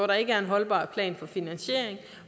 der ikke er en holdbar plan for finansiering